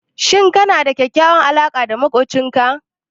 Shin kana da kyakkyawar alaƙa da maƙocinka?